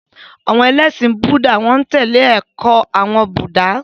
Àwọn ẹlẹ́ṣin Búúdà n tẹle awọn ẹkọ Buddha.